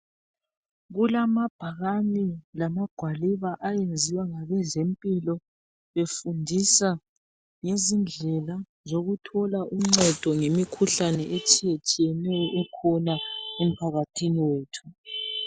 Kulamabhakani lamagwaliba ayenziwa ngabezempilo befundisa ngezindlela zokuthola uncedo ngemikhuhlane etshiyetshiyeneyo ekhona emphakathini wethu.